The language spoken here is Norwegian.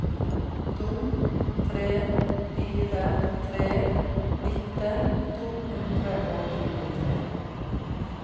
to tre fire tre nitten to hundre og tjuetre